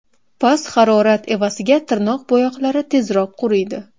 Past harorat evaziga tirnoq bo‘yoqlari tezroq quriydi.